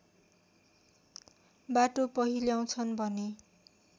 बाटो पहिल्याउँछन् भने